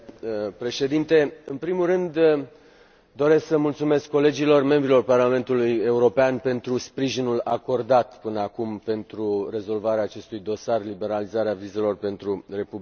În primul rând, doresc să mulțumesc colegilor, membrilor Parlamentului European pentru sprijinul acordat până acum pentru rezolvarea acestui dosar Liberalizarea vizelor pentru Republica Moldova.